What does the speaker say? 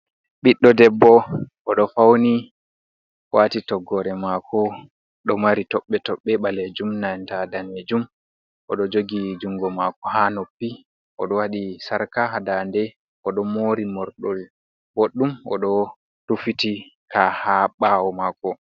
Ɓiɗɗo idebbo oɗo fauni wati toggore mako, ɗo mari toɓɓi toɓɓi ɓaleejuum nanta daneejuum oɗo joogi jungo mako, ha noppi oɗo wadi sarka ha ndande oɗo mori morgol boɗɗum, oɗo rufitika ha ɓawo mako.